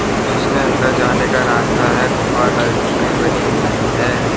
और जिसके अंदर जाने का रास्ता है गुफा टाइप की बनी हुई है।